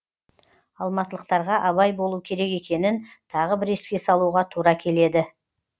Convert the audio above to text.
алматылықтарға абай болу керек екенін тағы бір еске салуға тура келеді